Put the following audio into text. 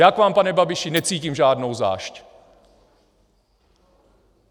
Já k vám, pane Babiši, necítím žádnou zášť.